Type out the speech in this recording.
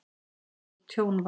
Nokkurt tjón varð.